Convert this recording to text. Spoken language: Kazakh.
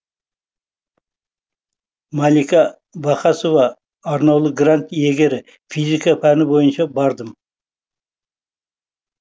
малика вахасова арнаулы грант иегері физика пәні бойынша бардым